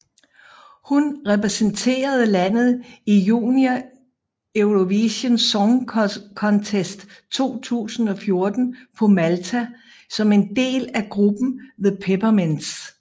Hun repræsenterede landet i Junior Eurovision Song Contest 2014 på Malta som en del af gruppen The Peppermints